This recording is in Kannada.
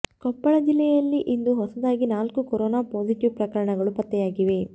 ಕೊಪ್ಪಳ ಜಿಲ್ಲೆಯಲ್ಲಿ ಇಂದು ಹೊಸದಾಗಿ ನಾಲ್ಕು ಕೊರೋನಾ ಪಾಸಿಟಿವ್ ಪ್ರಕರಣಗಳು ಪತ್ತೆಯಾಗಿವೆ